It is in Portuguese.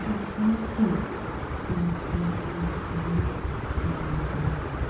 A gente põe tudo, gente, tudo, tudo, tudo, tudo no no treinamento.